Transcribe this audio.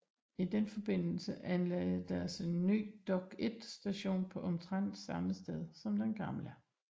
I den forbindelse anlagdes der en ny Dokk1 Station på omtrent samme sted som den gamle